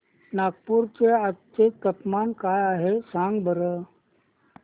नागपूर चे आज चे तापमान काय आहे सांगा बरं